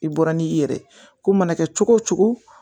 I bɔra ni i yɛrɛ ye ko mana kɛ cogo o cogo